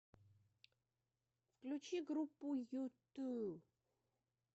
включи группу юту